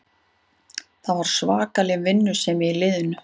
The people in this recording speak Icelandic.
Það var svakaleg vinnusemi í liðinu